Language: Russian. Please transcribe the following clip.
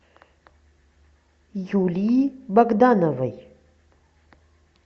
юлии богдановой